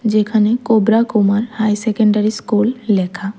এখানে কোবরা Kumar high secondary school লেখা।